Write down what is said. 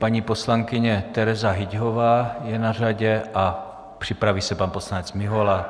Paní poslankyně Tereza Hyťhová je na řadě a připraví se pan poslanec Mihola.